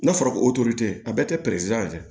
N'a fɔra ko o a bɛɛ tɛ